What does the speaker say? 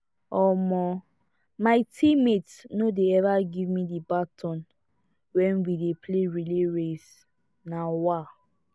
um my teammates no dey ever give me the baton wen we dey play relay race um